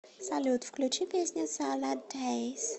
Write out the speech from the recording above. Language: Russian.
салют включи песню салад дейс